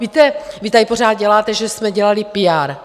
Víte, vy tady pořád děláte, že jsme dělali píár.